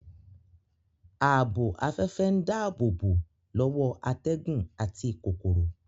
Ààbò afẹ́fẹ́ ń dáàbòbò lọ́wọ́ atẹ́gùn àti kòkòrò